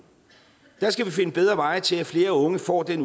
skal vi finde bedre veje til at flere unge får den